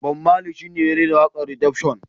Bob marley shi ne ya rera wakar Redemption.